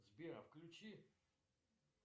сбер а включи